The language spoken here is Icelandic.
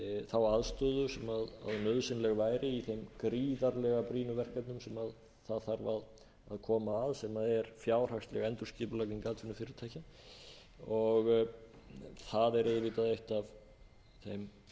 þá aðstöðu sem nauðsynleg væri í þeim gríðarlega brýnu verkefnum sem það þarf að koma að sem er fjárhagsleg endurskipulagning atvinnufyrirtækja það er auðvitað eitt af þeim lykilverkefnum